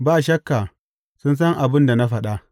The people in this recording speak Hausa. Ba shakka, sun san abin da na faɗa.